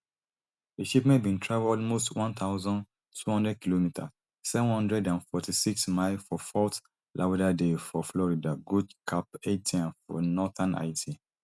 di shipment bin travel almost one thousand, two hundredkm seven hundred and forty-six miles for fort lauderdale for florida go caphaitien for northern haiti